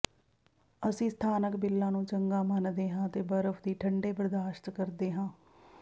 ਅਸੀਂ ਸਥਾਨਕ ਬਿੱਲਾਂ ਨੂੰ ਚੰਗਾ ਮੰਨਦੇ ਹਾਂ ਅਤੇ ਬਰਫ ਦੀ ਠੰਡੇ ਬਰਦਾਸ਼ਤ ਕਰਦੇ ਹਾਂ